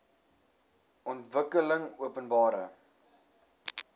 ontwikkelingopenbare